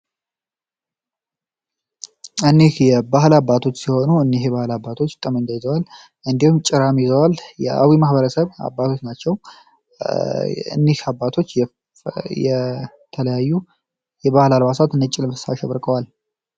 የባህል አባቶች ሲሆኑ እነዚህ ባለሀብቶች የአዊ ማህበረሰብ አባቶች የተለያዩ የባህል አልባሳት አሸብርቀዋል።